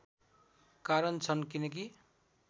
कारण छन् किनकि